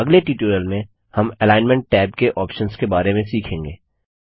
अगले ट्यूटोरियल में हम एलिग्नमेंट टैब के ऑप्शंस के बारे में सीखेंगे